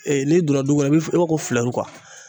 Ee n'i donna du kɔnɔ e bi fi e b'a ko filɛru kuwa